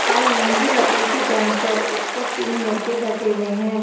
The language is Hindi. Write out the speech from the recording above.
लाल रंग की लकड़ी की बेंच है उसपर तीन लड़के बैठे हुए है।